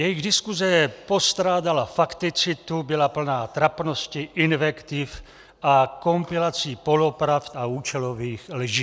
Jejich diskuse postrádala fakticitu, byla plná trapnosti, invektiv a kompilací polopravd a účelových lží.